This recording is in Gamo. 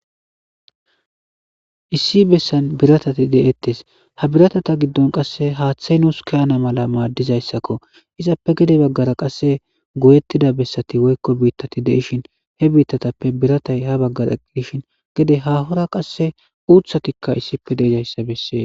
Issi bessan biratati deettes ha biratata giddon qasse haaththay nuus kaana mala maaddizayssakko izappe gede baggara qasse goyettida bessati woyiko biittati deishin he biittatappe biratay ha baggara dishin gede hahora qasse uuthatikka issipe deejayssa beses